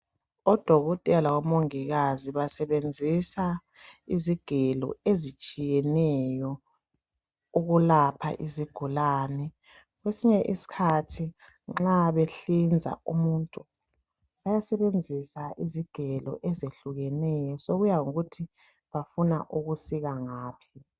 ODokotela labo Mongikazi basebenzisa izigelo ezitshiyeneyo ukulapha izigulane kwesinye isikhathi nxa behlinza umuntu bayasebenzisa izigelo ezehlukeneyo, sokuyangokuthi bafuna ukusika ngaphi.